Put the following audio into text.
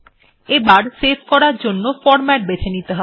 এরপর সেভ করার জন্য ফরম্যাট বেছে নিতে হবে